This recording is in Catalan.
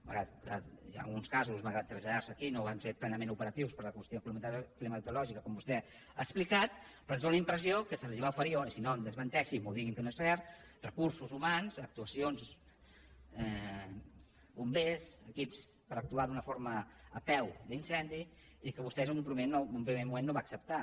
malgrat que en alguns casos malgrat traslladar se aquí no van ser plenament operatius per la qüestió climatològica com vostè ha explicat però tenim la impressió que se’ls van oferir i si no em desmenteixi em digui que no és cert recursos humans actuacions bombers equips per actuar d’una forma a peu d’incendi i que vostè en un primer moment no va acceptar